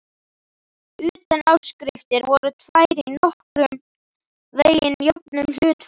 Utanáskriftirnar voru tvær í nokkurn veginn jöfnum hlutföllum.